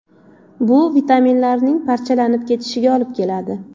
Bu vitaminlarning parchalanib ketishiga olib keladi.